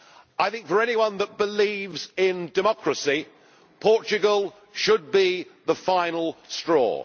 I think for anyone that believes in democracy, Portugal should be the final straw.